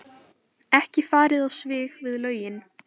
Ekki farið á svig við lögin